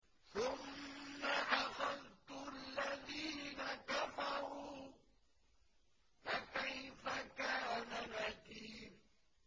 ثُمَّ أَخَذْتُ الَّذِينَ كَفَرُوا ۖ فَكَيْفَ كَانَ نَكِيرِ